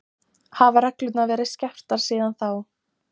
Hafa reglurnar verið skerptar síðan þá?